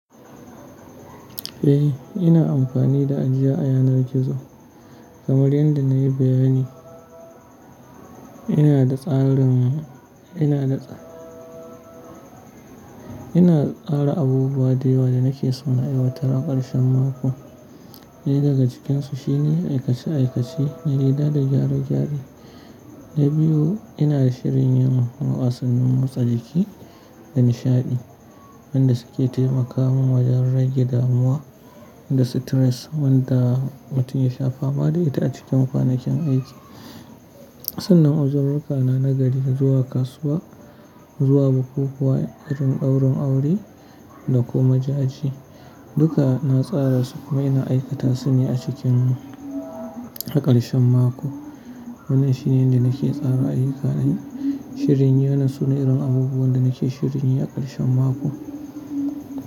Eh ina amfani da ajiya a yanar gizo kamar yadda na yi bayani. Ina da tsarin, ina da, ina tsara abubuwa da yawa da nake so na yi watar a ƙarshen mako. Ɗaya daga cikinsu shine aikace aikace, riga da gyare gyare. Na biyu ina da shirin yin wasannin motsa jiki da nishaɗi wanda suke taimaka mun wajen rage damuwa da stress wanda mutun ya shafa ba da ita a cikin kwanakin aiki. Sannan uzururruka na nagari zuwa kasuwa, zuwa bukukuwa, irin ɗaurin aure da kuma jaje duka na tsara su kuma ina aikata su ne a cikin a ƙarshen mako. Wannan shine yanda nake tsara ayyukani. Shirin yana suna irin abubuwan da nake shirin inyi a ƙarshen mako.